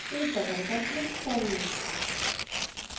save button पर click करें